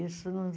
Isso nos